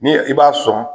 Ni i b'a sɔn